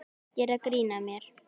Og gera grín að mér.